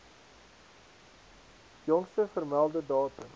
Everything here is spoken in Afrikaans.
jongste vermelde datum